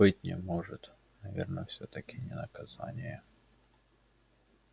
быть не может наверное всё-таки не наказание